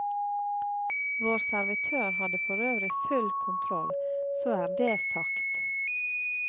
Vår servitør hadde forøvrig full kontroll, så er det sagt.